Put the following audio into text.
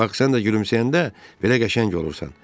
Bax, sən də gülümsəyəndə belə qəşəng olursan.